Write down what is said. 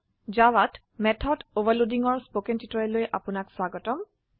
জাভাত মেথড overloadingৰ স্পকেন টিউটোৰিয়েলৈ আপনাক স্বাগতম